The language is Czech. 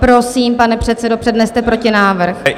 Prosím pane předsedo, předneste protinávrh.